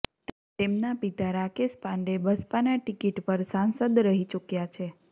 તેમના પિતા રાકેશ પાંડે બસપાના ટિકિટ પર સાંસદ રહી ચૂક્યા છે